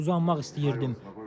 Uzanmaq istəyirdim.